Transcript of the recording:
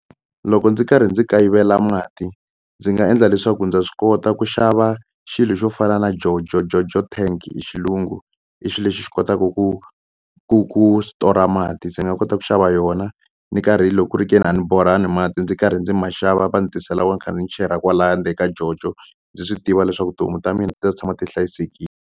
Loko ndzi karhi ndzi kayivela mati ndzi nga endla leswaku ndza swi kota ku xava xilo xo fana na jojo jojo tank hi xilungu i swi lexi xi kotaka ku ku ku stora mati se ni nga kota ku xava yona ni karhi loko ku ri ke ni a ni borhangi mati ndzi karhi ndzi maxava va ni tisela wona kha ni chela kwalaya ndzeni ka jojo ndzi swi tiva leswaku tihomu ta mina ti ta tshama ti hlayisekile.